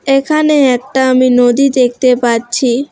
এখানে একটা আমি নদী দেখতে পাচ্ছি।